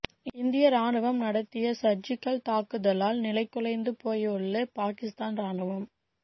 இந்திய ராணுவம் நடத்திய சர்ஜிகல் தாக்குதலால் நிலைகுலைந்து போயுள்ள பாகிஸ்தான் ராணுவம்